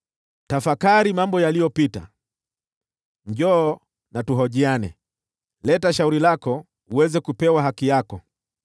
Tafakari mambo yaliyopita, njoo na tuhojiane, leta shauri lako uweze kupewa haki yako.